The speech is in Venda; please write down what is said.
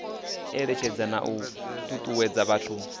eletshedza na u tutuwedza vhathu